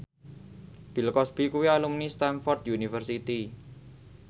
Bill Cosby kuwi alumni Stamford University